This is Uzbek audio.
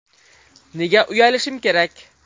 Nega uyalishim kerak?!